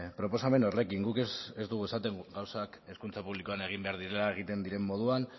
proposamen horrekin guk ez dugu esaten gauzak hezkuntza publikoan egin behar direla egiten diren moduan